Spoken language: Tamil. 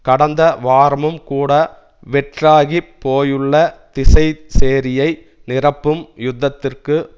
கடந்த வாரமும் கூட வெற்றாகிப் போயுள்ள திசைசேரியை நிரப்பவும் யுத்தத்திற்கு